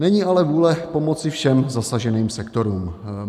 Není ale vůle pomoci všem zasaženým sektorům.